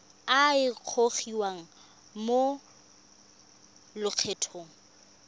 a a gogiwang mo lokgethong